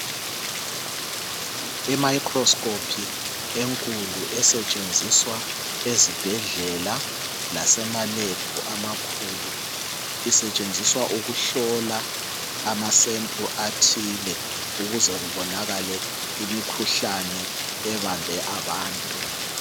I microscope enkulu esetshenziswa ezibhedlela lasema lab amakhulu isetshenziswa ukuhlola ama sample athile ukuze kubonakale imikhuhlane ebambe abantu.